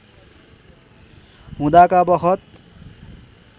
हुँदाका बखत